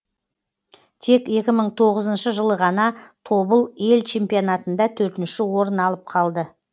тек екі мың тоғызыншы жылы ғана тобыл ел чемпионатында төртінші орын алып қалды